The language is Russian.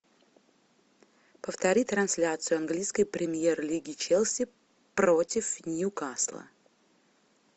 повтори трансляцию английской премьер лиги челси против ньюкасла